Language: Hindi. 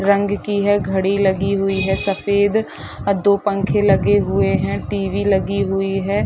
रंग की है घडी लगी हुई है सफ़ेद अ दो पंखे लगे हुए है टीवी लगी हुई हैं ।